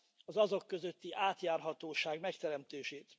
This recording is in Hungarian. az azok közötti átjárhatóság megteremtését.